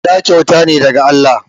Ɗa kyauta ne daga Allah